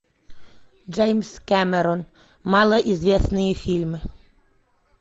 джеймс кэмерон малоизвестные фильмы